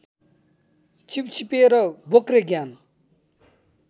छिपछिपे र बोक्रे ज्ञान